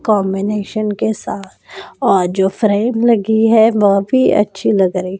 combination के साथ जो फ्रेम लगी है वह भी अच्छी लग रही--